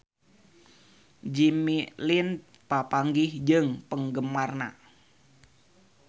Jimmy Lin papanggih jeung penggemarna